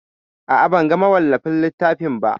A'a, ban ga mawallafin littafin ba.